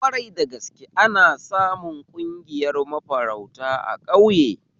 Kwarai da gaske, ana samu ƙungiyar mafarauta a ƙauye